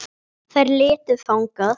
Þær litu þangað.